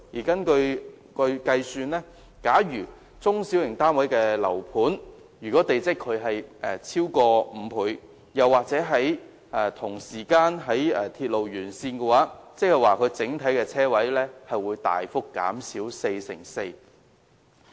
根據計算，假如中小型單位的樓盤的地積比率超過5倍，又或同時間在鐵路沿線，該樓盤的整體車位數目會大幅減少四成四。